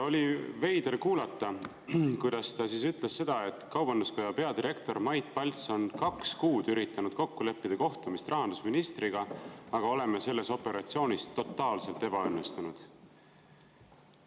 Oli veider kuulata, kuidas ta ütles: "Kaubanduskoja peadirektor Mait Palts on kaks kuud üritanud kokku leppida kohtumist rahandusministriga, aga oleme selles operatsioonis totaalselt ebaõnnestunud.